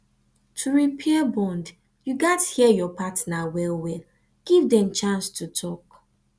to repair bond you gats hear your partner well well give them chance to talk